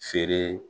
Feere